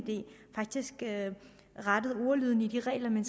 faktisk rettet ordlyden i de regler man